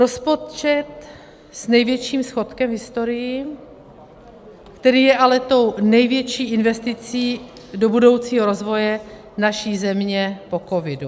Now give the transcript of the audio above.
Rozpočet s největším schodkem v historii, který je ale tou největší investicí do budoucího rozvoje naší země po covidu.